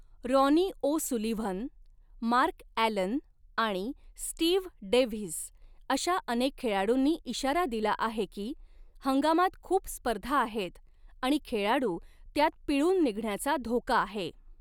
Ronnie O'Sullivan, Mark Allen आणि Steve Davis अशा अनेक खेळाडूंनी इशारा दिला आहे की, हंगामात खूप स्पर्धा आहेत आणि खेळाडू त्यात पिळून निघण्याचा धोका आहे.